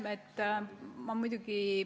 Jaa, aitäh!